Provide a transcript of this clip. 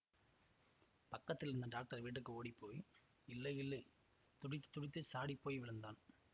பக்கத்திலிருந்த doctor வீட்டுக்கு ஓடிப்போய் இல்லையில்லை துடித்துத் துடித்துச் சாடிப்போய் விழுந்தான்